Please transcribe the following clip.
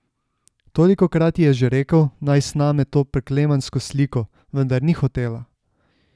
Tolikokrat ji je že rekel, naj sname to preklemansko sliko, vendar ni hotela.